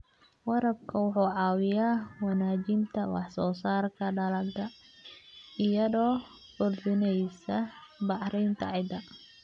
Waraabka wuxuu caawiyaa wanaajinta wax soo saarka dalagga iyadoo kordhinaysa bacrinta ciidda.